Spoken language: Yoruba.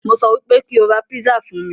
Mo sọ wípé kóo ra písà fún mí.